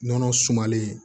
Nɔnɔ sumalen